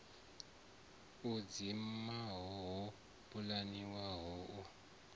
u dzimiwa ho pulaniwaho u